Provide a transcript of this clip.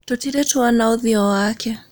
Tũtirĩ twona ũthiũ wake.